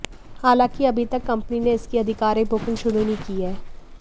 हालांकि अभी तक कंपनी ने इसकी आधिकारिक बुकिंग शुरू नहीं की है